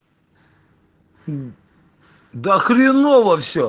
да хреново все